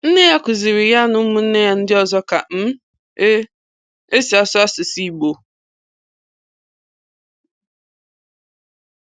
Nne ya kụziri ya na ụmụnne ya ndị ọzọ ka um e e si asụ asụsụ Igbo.